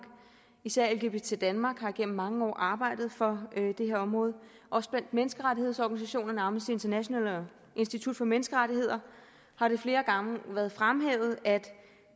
især lgbt danmark har i mange år arbejdet for det her område også blandt menneskerettighedsorganisationerne amnesty international og institut for menneskerettigheder har det flere gange været fremhævet at